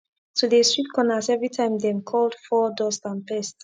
to de sweep corners everytime dem called fur dust and pest